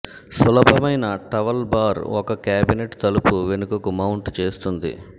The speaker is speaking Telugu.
సులభమయిన టవల్ బార్ ఒక క్యాబినెట్ తలుపు వెనుకకు మౌంట్ చేస్తుంది